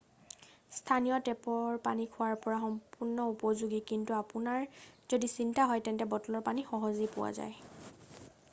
স্থানীয় টেপৰ পানী খোৱাৰ বাবে সম্পূৰ্ণ উপযোগী কিন্তু আপোনাৰ যদি চিন্তা হয় তেন্তে বটলৰ পানী সহজেই পোৱা যায়